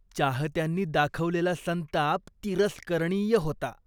चाहत्यांनी दाखवलेला संताप तिरस्करणीय होता.